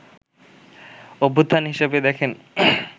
অভ্যুত্থান হিসেবে দেখেন